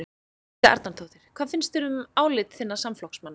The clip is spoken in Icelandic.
Helga Arnardóttir: Hvað finnst þér um álit þinna samflokksmanna?